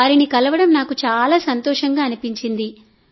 వారిని కలవడం నాకు చాలా సంతోషంగా అనిపించింది